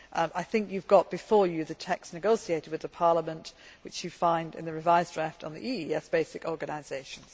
I think you have before you the text negotiated with Parliament, which you find in the revised draft on the EEAS basic organisation.